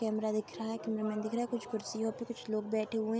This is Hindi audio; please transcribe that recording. कैमरा दिख रहा है। कैमरा मैन दिख रहा है। कुछ कुर्सीयों पे कुछ लोग बैठे हैं।